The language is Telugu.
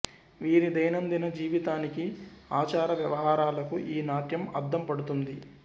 వీరి దైనందిన జీవితానికి ఆచార వ్యవహారాలకు ఈ నాట్యం అద్దం పడుతుంది